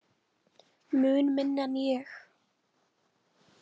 Mun minni en ég.